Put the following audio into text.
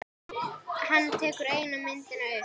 Hann tekur eina myndina upp.